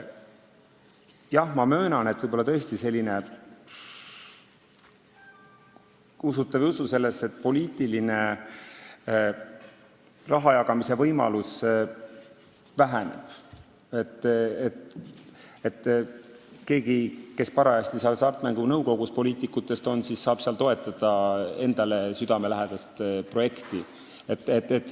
Kas teie sellesse usute või ei usu, aga mina möönan, et poliitilise rahajagamise võimalus väheneb – see, et mõni poliitik, kes parajasti on Hasartmängumaksu Nõukogus, saab seal toetada endale südamelähedast projekti.